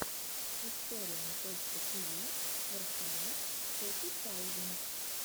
историум точка тиви ворхаммер фоти таузенд